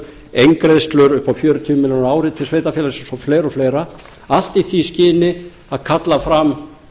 upp á fjörutíu milljónir á ári til sveitarfélagsins og fleiri og fleira allt í því skyni að kalla fram